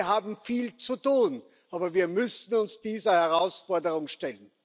Wir haben viel zu tun, aber wir müssen uns dieser Herausforderung stellen.